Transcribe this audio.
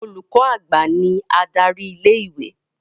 Olùkọ́ àgbà ní adarí ilé-ìwé.